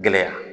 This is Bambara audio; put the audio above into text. Gɛlɛya